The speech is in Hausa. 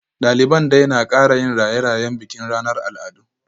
Daliban dai na kara yin raye-rayen bikin ranar al'adu